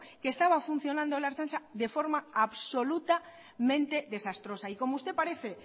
que estaba funcionando la ertzaintza de forma absolutamente desastrosa y como usted parece